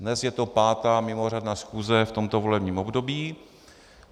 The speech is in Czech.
Dnes je to pátá mimořádná schůze v tomto volebním období.